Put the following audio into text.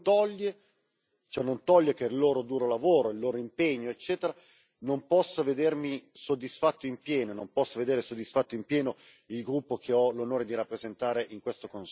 Ciò non toglie che il loro duro lavoro, il loro impegno, eccetera, non possano vedermi soddisfatto in pieno e non possano vedere soddisfatto in pieno il gruppo che ho l'onore di rappresentare qui.